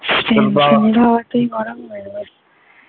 stand fan র হাওয়াটা গরম লাগবে ।